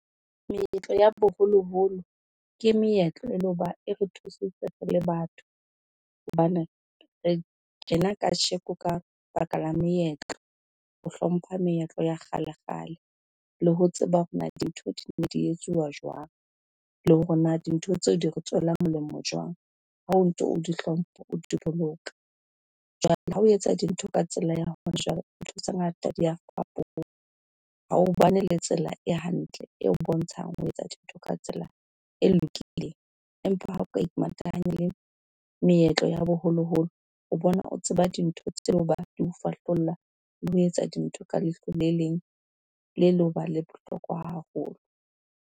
Meetlo ya boholoholo ke meetlo e le ho ba e re thusitse re le batho, hobane re tjena kasheko ka baka la meetlo, ho hlompha meetlo ya kgalekgale. Le ho tseba hore na dintho di ne di etsuwa jwang, le hore na dintho tseo di re tswela molemo jwang. Ha o ntso o di hlompha, o di boloka, jwale ha o etsa dintho ka tsela ya hona jwale, ntho tse ngata di a fapoha ha o ba ne le tsela e hantle, eo bontshang ho etsa dintho ka tsela e lokileng, empa ha o ka imatahanye le meetlo ya boholoholo, o bona o tseba dintho tseo ba di o fahlolla le ho etsa dintho ka leihlo le leng le le ho ba le bohlokwa haholo.